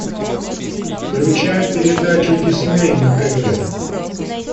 включай передачу дисней на тв